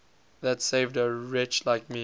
that saved a wretch like me